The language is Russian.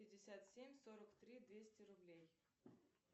пятьдесят семь сорок три двести рублей